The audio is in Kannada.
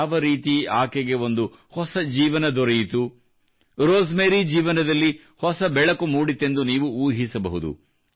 ಯಾವ ರೀತಿ ಆಕೆಗೆ ಒಂದು ಹೊಸ ಜೀವನ ದೊರೆಯಿತು ರೋಸ್ ಮೇರಿ ಜೀವನದಲ್ಲಿ ಹೊಸ ಬೆಳಕು ಮೂಡಿತೆಂದು ನೀವು ಊಹಿಸಬಹುದು